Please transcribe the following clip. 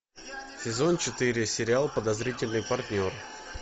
сезон четыре сериал подозрительный партнер